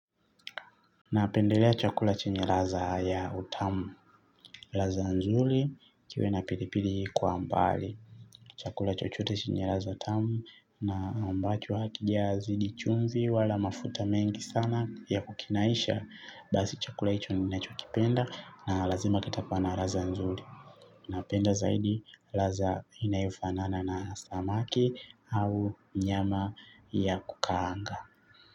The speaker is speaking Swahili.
Napendelea chakula chenye laza ya utamu, laza nzuli kiwe na pilipili kwa mbali, chakula chochote chenye laza tamu na ambacho hakija zidi chumvi wala mafuta mengi sana ya kukinaisha, basi chakula hicho ninacho kipenda na lazima kitakua na laza nzuli. Napenda zaidi, laza inayofanana na samaki au nyama ya kukahanga.